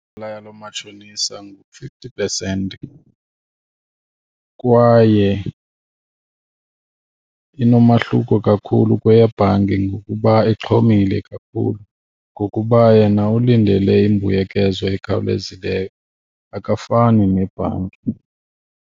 Inzala yalo matshonisa ngu-fifty percent kwaye inomahluko kakhulu kweyebhanki ngokuba ixhomile kakhulu, ngokuba yena ulindele imbuyekezo ekhawulezileyo akafani nebhanki.